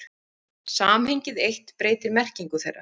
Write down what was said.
Samhengið eitt breytir merkingu þeirra.